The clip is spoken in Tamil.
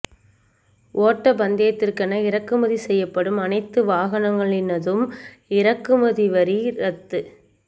ஓட்டப் பந்தயத்திற்கென இறக்குமதி செய்யப்படும் அனைத்து வாகனங்களினதும் இறக்குமதி வரி ரத்து